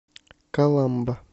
каламба